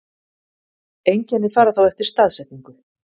Einkenni fara þá eftir staðsetningu.